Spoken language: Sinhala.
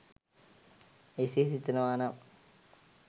එසේ සිතනවා නම්